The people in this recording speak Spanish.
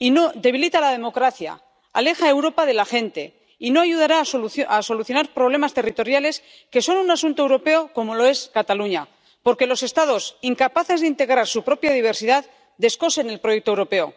debilita la democracia, aleja a Europa de la gente y no ayudará a solucionar problemas territoriales —que son un asunto europeo, como lo es Cataluña— porque los Estados, incapaces de integrar su propia diversidad, descosen el proyecto europeo.